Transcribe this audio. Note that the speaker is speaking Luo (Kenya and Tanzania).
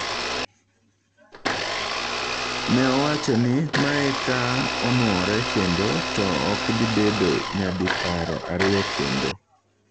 Ne owacho ni "mae ka onuore kendo ,to okdhibedo nyadiparo ariyo kendo"